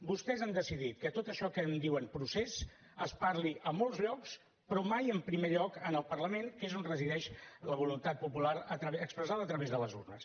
vostès han decidit que tot això que en diuen procés es parli a molts llocs però mai en primer lloc en el parlament que és on resideix la voluntat popular expressada a través de les urnes